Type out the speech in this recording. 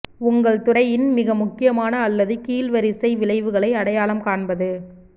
உங்கள் துறையின் மிக முக்கியமான அல்லது கீழ் வரிசை விளைவுகளை அடையாளம் காண்பது